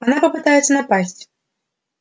она попытается напасть